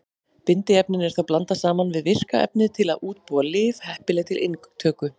Bindiefninu er þá blandað saman við virka efnið til að útbúa lyf heppileg til inntöku.